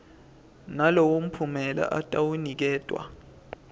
nalowo mphumela atawuniketwa